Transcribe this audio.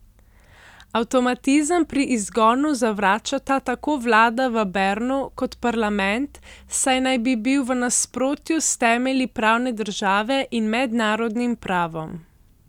Avtomatizem pri izgonu zavračata tako vlada v Bernu kot parlament, saj naj bi bil v nasprotju s temelji pravne države in mednarodnim pravom.